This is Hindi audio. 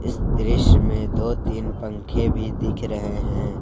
इस दृश्य में दो तीन पंखे भी दिख रहे हैं।